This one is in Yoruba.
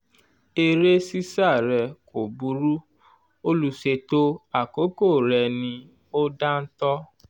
eré ṣíṣá re kò burú olùṣètò àkókò rẹ̀ ni ò dáńtọ́